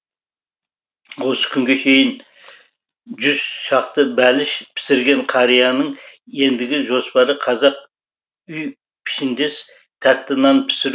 осы күнге шейін жүз шақты бәліш пісірген қарияның ендігі жоспары қазақ үй пішіндес тәтті нан пісіру